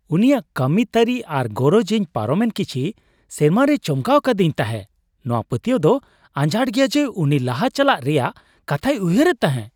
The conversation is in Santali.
ᱩᱱᱤᱭᱟᱜ ᱠᱟᱹᱢᱤ ᱛᱟᱹᱨᱤ ᱟᱨ ᱜᱚᱨᱚᱡ ᱤᱧ ᱯᱟᱨᱚᱢᱮᱱ ᱠᱤᱪᱷᱤ ᱥᱮᱨᱢᱟ ᱨᱮᱭ ᱪᱚᱢᱠᱟᱣ ᱟᱠᱟᱫᱤᱧ ᱛᱟᱦᱮᱸᱜ; ᱱᱚᱶᱟ ᱯᱟᱹᱛᱭᱟᱹᱣ ᱫᱚ ᱟᱡᱷᱟᱴᱟ ᱜᱮᱭᱟ ᱡᱮ ᱩᱱᱤ ᱞᱟᱦᱟ ᱪᱟᱞᱟᱜ ᱨᱮᱭᱟᱜ ᱠᱟᱛᱷᱟᱭ ᱩᱭᱦᱟᱹᱨᱮᱫ ᱛᱟᱦᱮᱸᱜᱼᱟ᱾